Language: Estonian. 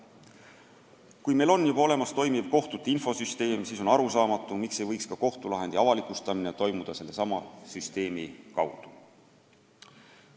Kui meil on juba olemas toimiv kohtute infosüsteem, siis on arusaamatu, miks ei võiks ka kohtulahendi avalikustamine toimuda sellesama infosüsteemi kaudu.